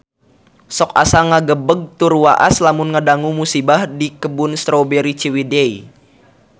Sok asa ngagebeg tur waas lamun ngadangu musibah di Kebun Strawberry Ciwidey